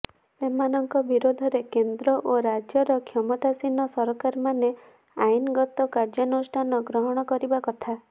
ସେମାନଙ୍କ ବିରୋଧରେ କେନ୍ଦ୍ର ଓ ରାଜ୍ୟର କ୍ଷମତାସୀନ ସରକାରମାନେ ଆଇନଗତ କାର୍ଯ୍ୟାନୁଷ୍ଠାନ ଗ୍ରହଣ କରିବା କଥା